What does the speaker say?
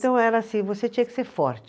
Então era assim, você tinha que ser forte.